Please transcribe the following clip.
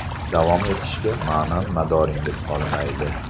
Davom etishga ma’nan madoringiz qolmaydi.